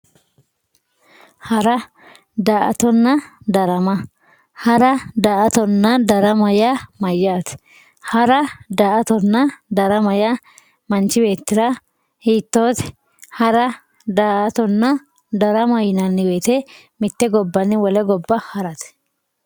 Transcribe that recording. Hara daato darama hara daato darama ya mayate hara daato darama ya manchi betira hitote hara daatonna darama yinayi woyite mitte gobanni wole goba harate